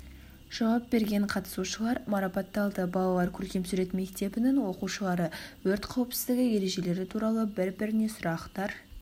жауап берген қатысушылар марапатталды балалар көркем сурет мектебінің оқушылары өрт қауіпсіздігі ережелері туралы бір-біріне сұрақтар